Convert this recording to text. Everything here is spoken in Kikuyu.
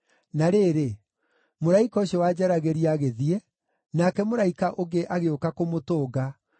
Na rĩrĩ, mũraika ũcio wanjaragĩria agĩthiĩ, nake mũraika ũngĩ agĩũka kũmũtũnga,